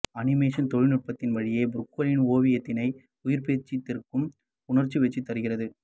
animation தொழிற்நுட்பத்தின் வழியே புரூகேலின் ஓவியத்தினை உயிர்பெறச் செய்திருப்பது உணர்வெழுச்சி தருகிறது